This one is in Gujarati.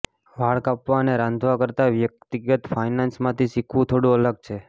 વાળ કાપવા અને રાંધવા કરતા વ્યક્તિગત ફાઇનાન્સમાંથી શીખવું થોડું અલગ છે